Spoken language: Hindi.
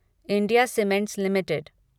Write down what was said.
India cements limited